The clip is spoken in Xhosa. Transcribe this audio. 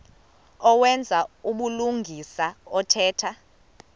owenza ubulungisa othetha